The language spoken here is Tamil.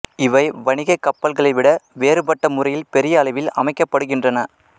இவை வணிகக் கப்பல்களைவிட வேறுபட்ட முறையில் பெரிய அளவில் அமைக்கப்படுகின்றன